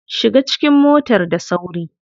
Shiga cikin motar da sauri.